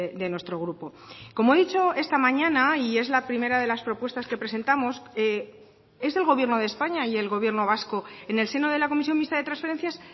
de nuestro grupo como he dicho esta mañana y es la primera de las propuestas que presentamos es el gobierno de españa y el gobierno vasco en el seno de la comisión mixta de transferencias